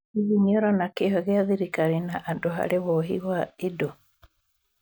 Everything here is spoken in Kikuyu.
Hihi nĩũrona kĩyo gĩa thirikari na andũ harĩ wohi wa indo.